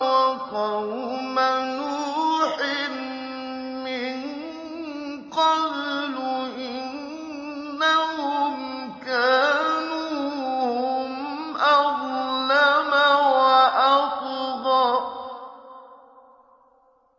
وَقَوْمَ نُوحٍ مِّن قَبْلُ ۖ إِنَّهُمْ كَانُوا هُمْ أَظْلَمَ وَأَطْغَىٰ